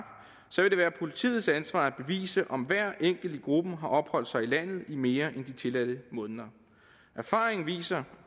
så vil det være politiets ansvar at bevise om hver enkelt i gruppen har opholdt sig i landet i mere end de tilladte måneder erfaringen viser